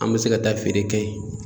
An mi se ka taa feere kɛ yen